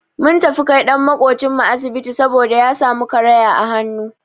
Mun tafi kai ɗan maƙocin mu asibiti saboda ya samu karaya a hannu.